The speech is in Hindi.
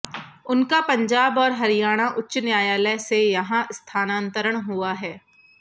उनका पंजाब और हरियाणा उच्च न्यायालय से यहां स्थानांतरण हुआ है